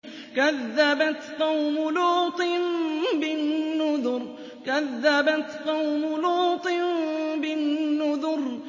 كَذَّبَتْ قَوْمُ لُوطٍ بِالنُّذُرِ